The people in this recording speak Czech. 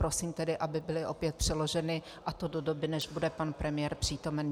Prosím tedy, aby byly opět přeloženy, a to do doby, než bude pan premiér přítomen.